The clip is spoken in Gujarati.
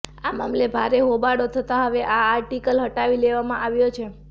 આ મામલે ભારે હોબાળો થતા હવે આ આર્ટિકલ હટાવી લેવામાં આવ્યો છે